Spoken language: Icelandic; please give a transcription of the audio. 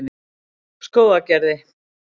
Skógargerði